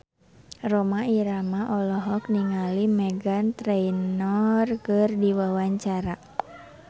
Rhoma Irama olohok ningali Meghan Trainor keur diwawancara